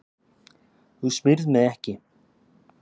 Þú smyrð mig ekki.